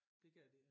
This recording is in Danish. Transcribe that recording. Det gad de